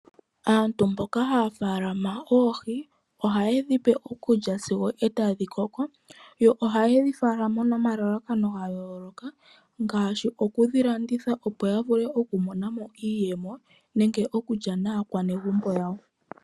Aantu mboka haya faalama oohi, oha yedhi pe okulya sigo etadhi koko yo oha yedhi faalama noma lalakano ga yooloka, ngaashi oku dhi landitha opo ya vule oku monamo iiyemo nenge oku lya naa negumbo yawo.